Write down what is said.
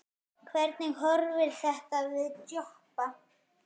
Hvernig horfir þetta við Jobba?